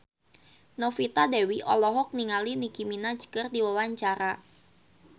Novita Dewi olohok ningali Nicky Minaj keur diwawancara